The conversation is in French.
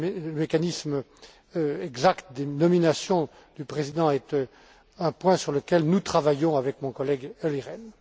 Le mécanisme exact des nominations du président est un point sur lequel nous travaillons avec mon collègue Olli Rehn.